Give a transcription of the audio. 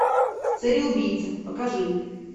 цареубийца покажи